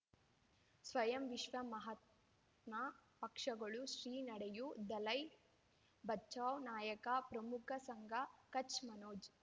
ಸ್ವಯಂ ವಿಶ್ವ ಮಹಾತ್ಮ ಪಕ್ಷಗಳು ಶ್ರೀ ನಡೆಯೂ ದಲೈ ಬಚೌ ನಾಯಕ ಪ್ರಮುಖ ಸಂಘ ಕಚ್ ಮನೋಜ್